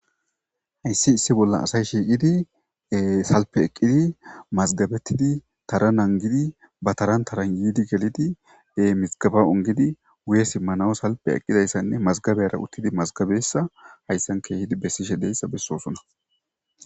hayssi issi bollan asay shiiqidi salpe eqqidi mazgabettidi tara nangidi ba taran taran yiidi gelidi mizgaba ongidi wuye simmanao salpe eqqidayssanne mazgabeyara uttidi mazgabeyssa hayssan keehidi bessishe deyssa bessoosona